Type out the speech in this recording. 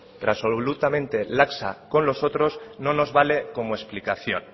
y absolutamente laxa con los otros no nos vale como explicación